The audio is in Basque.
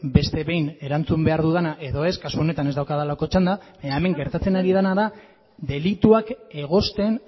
beste behin erantzun behar dudana edo ez kasu honetan ez daukadalako txanda baina hemen gertatzen ari dena da delituak egozten